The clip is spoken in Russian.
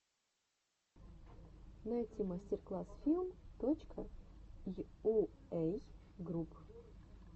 найти мастер класс филм точка йуэй групп